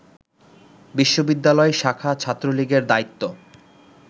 বিশ্ববিদ্যালয় শাখা ছাত্রলীগের দায়িত্ব